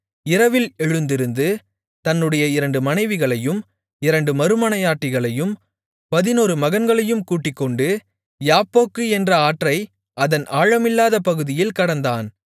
இரவில் எழுந்திருந்து தன்னுடைய இரண்டு மனைவிகளையும் இரண்டு மறுமனையாட்டிகளையும் பதினொரு மகன்களையும் கூட்டிக்கொண்டு யாப்போக்கு என்ற ஆற்றை அதன் ஆழமில்லாத பகுதியில் கடந்தான்